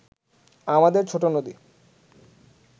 আমাদের ছোট নদী